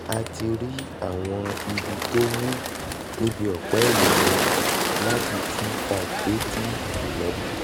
a ti rí àwọn ibi tó wú níbi ọ̀pá ẹ̀yìn mi láti t five dé t eleven